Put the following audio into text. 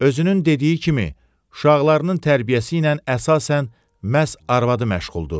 Özünün dediyi kimi, uşaqlarının tərbiyəsi ilə əsasən məhz arvadı məşğuldur.